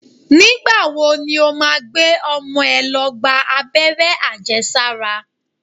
Nígbà wo ni ó máa gbé ọmọ ẹ̀ lọ gba Abẹ́rẹ́ àjẹsára?